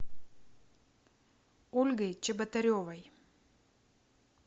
ольгой чеботаревой